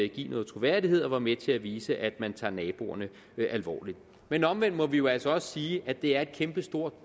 give noget troværdighed og som var med til at vise at man tager naboerne alvorligt men omvendt må vi jo altså også sige at det er et kæmpestort